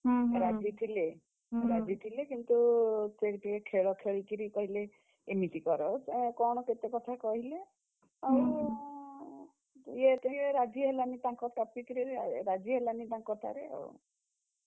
ରାଜି ଥିଲେ, ରାଜି ଥିଲେ କିନ୍ତୁ ସେ ଟିକେ ଖେଳ ଖେଳିକିରି କହିଲେ, ଏମିତି କର କଣ କେତେ କଥା କହିଲେ, ଆଉ ଇଏ ଟିକେ ରାଜିହେଲାନି ତାଙ୍କ topic ରେ ରାଜିହେଲାନି ତାଙ୍କ କଥାରେ ଆଉ